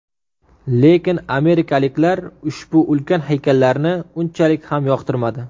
Lekin amerikaliklar ushbu ulkan haykallarni unchalik ham yoqtirmadi.